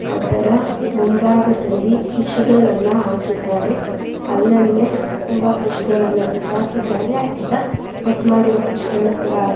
ಅದರ ಮುಂಭಾಗದಲ್ಲಿ ಫಿಶಗಳನ್ನ ಹಾಕಿದ್ದಾರೆ ಅಲಲ್ಲೇ ತುಂಬ ಫಿಶಗಳನ್ನ ಬಿಸಾಕಿದ್ದಾರೆ. ಅರ್ಧ ಕಟ್ ಮಾಡಿರೋ ಫಿಶ್ಗಳು ಕೂಡ --